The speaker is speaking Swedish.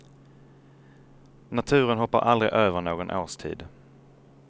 Naturen hoppar aldrig över någon årstid.